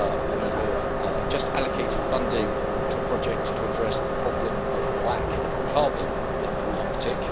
We have just allocated funding to a project to address the problem of black carbon in the Arctic.